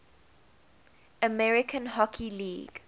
american hockey league